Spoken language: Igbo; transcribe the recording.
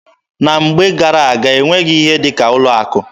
Na mgbe gara-aga, e nweghị ihe dị ka ụlọ akụ.